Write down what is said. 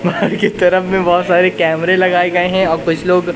mall के तरफ में बहुत सारे कैमरे लगाए गए हैं और कुछ लोग--